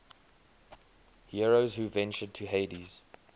heroes who ventured to hades